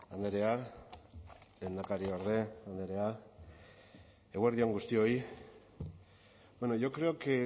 andrea lehendakariorde andrea eguerdi on guztioi bueno yo creo que